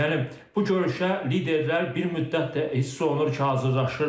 Yəni bu görüşə liderlər bir müddətdir ki, hiss olunur ki, hazırlaşırdılar.